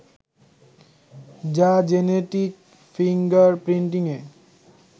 যা genetic finger প্রিন্টিংএ